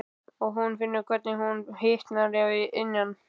Og hún finnur hvernig hún hitnar að innan.